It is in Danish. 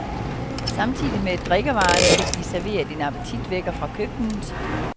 Samtidig med drikkevarerne fik vi serveret en appetitvækker fra køkkenet.